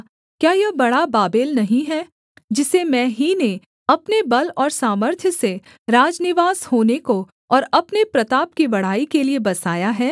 क्या यह बड़ा बाबेल नहीं है जिसे मैं ही ने अपने बल और सामर्थ्य से राजनिवास होने को और अपने प्रताप की बड़ाई के लिये बसाया है